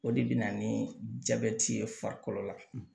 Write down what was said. O de bɛ na ni jabɛti ye farikolo la